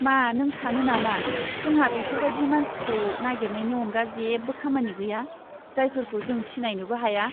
मा नों सानो नामा जोंहा बेफोरबायदि मानसिखौ नागिरनायनि अनगा जेबो खामानि गैया, जायफोरखौ जों सिनायनोबो हाया?